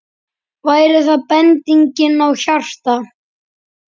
Væri það bending á hjarta?